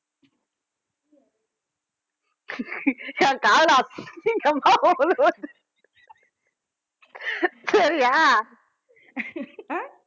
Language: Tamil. என் காதுல அசிங்கமா விழுந்துச்சு சரியா